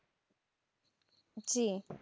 জি।